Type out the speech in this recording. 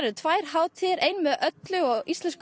tvær hátíðir ein með öllu og Íslensku